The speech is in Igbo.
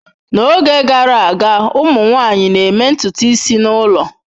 N'oge gara aga, ụmụ nwanyị na-eme ntutu isi n'ụlọ.